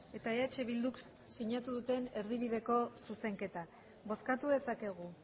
eta eh bilduk sinatu duten erdibideko zuzenketa bozkatu dezakegu